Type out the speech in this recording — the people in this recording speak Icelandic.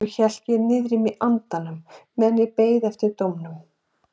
Svo hélt ég niðri í mér andanum meðan ég beið eftir dómnum.